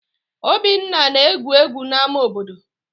Obinna na-egwu egwu n'ámá obodo